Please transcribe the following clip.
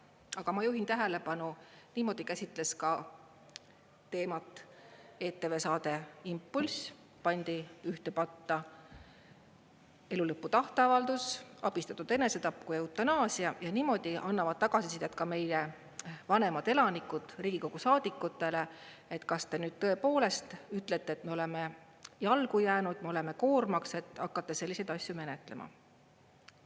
Aga ma juhin tähelepanu, niimoodi käsitles ka teemat ETV saade "Impulss", pandi ühte patta nii elu lõpu tahteavaldus, abistatud enesetapp kui eutanaasia ja niimoodi annavad tagasisidet ka meie vanemad elanikud Riigikogu saadikutele, et kas te nüüd tõepoolest ütlete, et me oleme jalgu jäänud, me oleme koormaks, et hakkate selliseid asju menetlema.